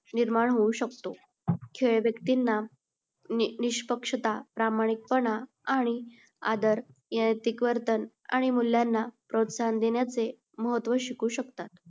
निर्माण होऊ शकतो. खेळ व्यक्तींना निष्पक्षता, प्रामाणिकपणा आणि आदर, नैतिक वर्तन आणि मूल्यांना प्रोत्साहन देण्याचे महत्व शिकवू शकतात.